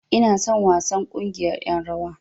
Ina son wasan ƙungiyar ƴan rawar.